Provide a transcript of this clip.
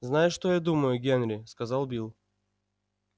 знаешь что я думаю генри сказал билл